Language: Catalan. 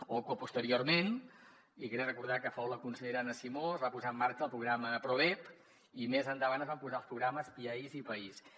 o que posteriorment i crec recordar que fou la consellera anna simó es va posar en marxa el programa prodep i més endavant es van posar en marxa els programes piaiss i paiss